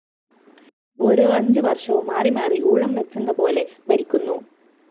ഓരോ അഞ്ചുവര്‍ഷവും മാറിമാറി ഉൗഴംവെച്ചെന്നപോലെ ഭരിക്കുന്നു